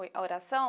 Oi, a oração?